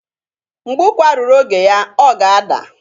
Mgbe ụkwa ruru oge ya, ọ ga-ada.